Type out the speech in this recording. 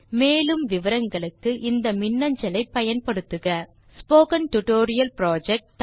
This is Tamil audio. மேலும் தகவல்களுக்கு contactspoken tutorialorg spoken tutorial project